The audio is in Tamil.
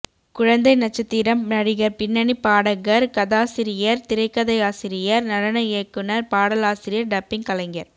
குழந்தை நட்சத்திரம் நடிகர் பின்னணி பாடகர் கதாசிரியர் திரைக்கதையாசிரியர் நடன இயக்குநர் பாடலாசிரியர் டப்பிங் கலைஞர்